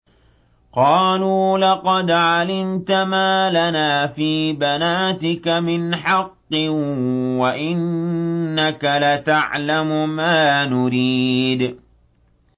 قَالُوا لَقَدْ عَلِمْتَ مَا لَنَا فِي بَنَاتِكَ مِنْ حَقٍّ وَإِنَّكَ لَتَعْلَمُ مَا نُرِيدُ